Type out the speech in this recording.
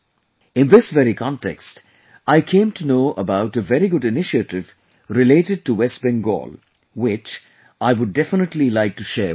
In this very context, I came to know about a very good initiative related to West Bengal, which, I would definitely like to share with you